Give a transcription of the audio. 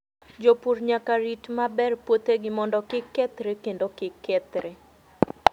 Jopur nyaka rit maber puothegi mondo kik kethre kendo kik kethre.